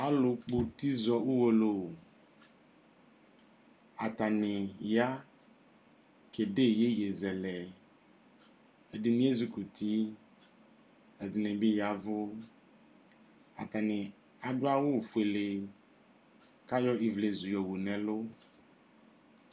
Alʋ kpɔ uti zɔ ʋwolowuatani ya kede yeye zɛlɛɛdini ezikɔ utiɛdini bi yavʋatani adʋ awu foele kʋ ayɔ ivlezu yɔwu nʋ ɛlʋ